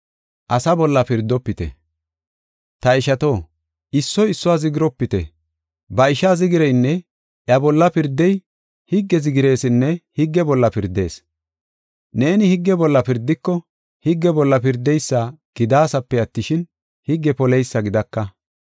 Ta ishato, issoy issuwa zigiropite. Ba ishaa zigireynne iya bolla pirdey higge zigiresinne higge bolla pirdees. Neeni higge bolla pirdiko higge bolla pirdeysa gidaasape attishin, higge poleysa gidaka.